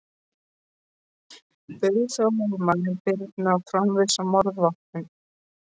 Bauð þá lögmaður Birni að framvísa morðvopninu.